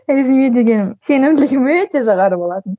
өзіме деген сенімділігім өте жоғары болатын